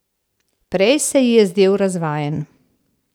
Prej se ji je zdel razvajen.